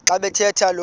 xa bathetha lo